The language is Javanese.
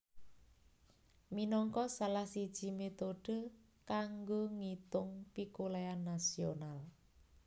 minangka salah siji métode kanggo ngitung pikolèhan nasional